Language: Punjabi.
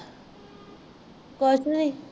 ਕੁਛ ਨੀ